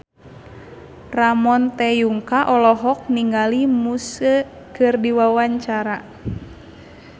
Ramon T. Yungka olohok ningali Muse keur diwawancara